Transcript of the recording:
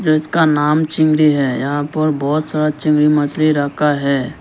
इसका नाम चिंगड़ी है यहां पर बहोत सारा चिंगड़ी मछली रखा है।